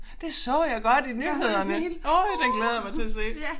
Det så jeg godt i nyhederne. Øj den glæder jeg mig til at se